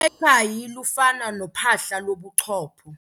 Ukhakayi lufana nophahla lobuchopho.